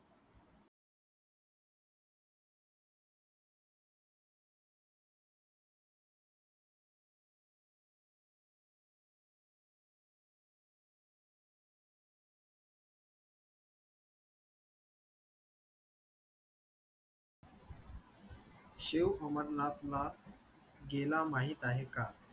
शेव अमरनाथला गेला माहीत आहे का?